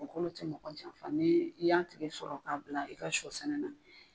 O kɔni ti mɔgɔ janfa, ni i y'a tigɛ sɔrɔ k'a bila, i ka sɔ sɛnɛ na